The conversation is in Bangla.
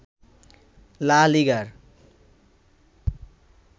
লা লিগার